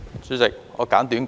主席，我簡短發言。